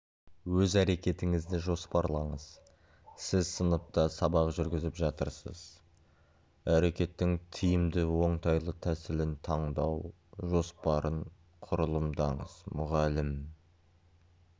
өз әрекетіңізді жоспарлаңыз сіз сыныпта сабақ жүргізіп жатырсыз әрекеттің тиімді оңтайлы тәсілін таңдау жоспарын құрылымдаңыз мұғалім